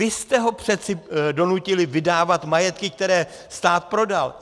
Vy jste ho přece donutili vydávat majetky, které stát prodal.